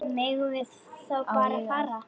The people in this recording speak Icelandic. Megum við þá bara fara?